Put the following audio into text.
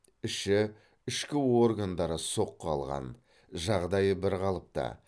іші ішкі органдары соққы алған жағдайы бірқалыпты